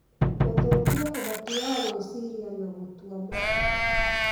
gũthũkia ũhoti wa gwĩciria na gũtua matua